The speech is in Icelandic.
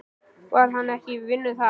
Var hann ekki í vinnu þar?